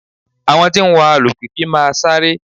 Àwọn tí ń wa alùpìpì máa sáré